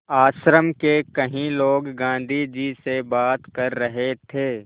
आश्रम के कई लोग गाँधी जी से बात कर रहे थे